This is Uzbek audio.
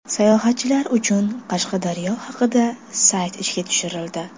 Sayohatchilar uchun Qashqadaryo haqida sayt ishga tushirildi.